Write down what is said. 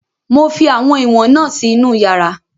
Mo fi àwọn ìwọ̀n na si inú yàrá